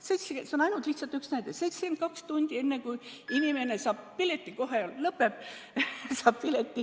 See on ainult üks näide: 72 tundi enne, kui inimene saab pileti – kohe lõpetan!